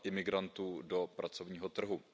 imigrantů do pracovního trhu.